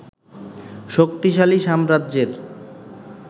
শক্তিশালী সাম্রাজ্যের